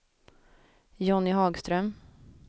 Jonny Hagström